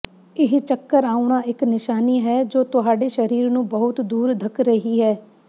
ਇਹ ਚੱਕਰ ਆਉਣਾ ਇੱਕ ਨਿਸ਼ਾਨੀ ਹੈ ਜੋ ਤੁਹਾਡੇ ਸਰੀਰ ਨੂੰ ਬਹੁਤ ਦੂਰ ਧੱਕ ਰਹੀ ਹੈ